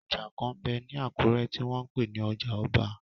Ọjà kan m bẹ ní Àkúrẹ́ tí wọ́n n pè ní ọjà ọba